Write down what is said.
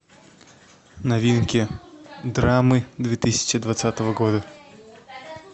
новинки драмы две тысячи двадцатого года